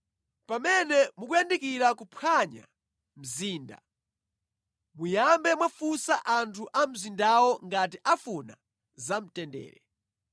Pamene mukuyandikira kuphwanya mzinda, muyambe mwafunsa anthu a mu mzindawo ngati afuna zamtendere.